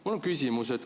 Mul on küsimus.